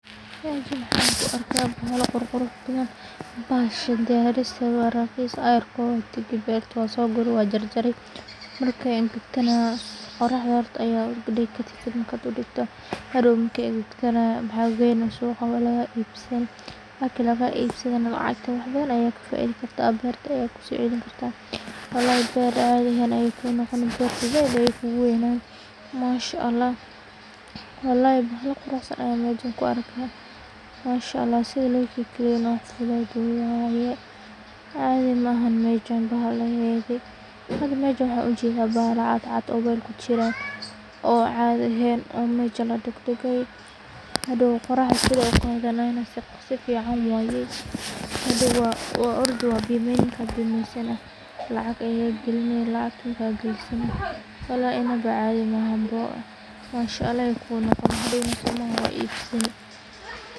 Mesha waxan kuarka bahala ququrx badan bahasha diyaristedu wa raqis ayarko wa tagi beerta wa soguuri wa jarjari marka ay angagtana qoraxda aya udigi marka digto hadow marka ay agagtana waxa geyni suuqa wa laga ibsan marka laga ibsadana lacagta wax badan aya kafaidi karta berta aya kusocelini karta walahi beer cadi ahayn ay kunoqoni zaaid ay kugu weynani mashaallah wallahi bahala quruxsan aya mesha kuarka mashaallah sida lokikaleeyi waqti logali cadi maha mesha bahaladedi hada mesha waxan ugujeda bahala caata caata ah o kujiran o cadi aheyn o mesha hadow qoraxda sido kale sifican waye hadow wa orday wa bimeeyni marka bemeeysana lacag ay galine lacagta marka galisana wallahi inaba cadi maha. Mashaallah ay kunoqoni hadowna somaha wa ibsani.